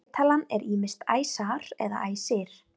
fleirtalan er ýmist æsar eða æsir